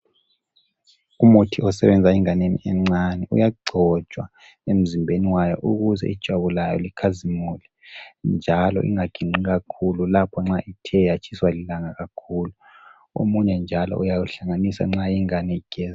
Umuthi osebenza enganeni encane uyagcotshwa emzimbeni wayo ukuze ijwabu layo likhazimule njalo ingaginqi kakhulu lapho nxa ithe yatshiswa lilanga kakhulu omunye njalo uyawuhlanganisa nxa ingane igeza.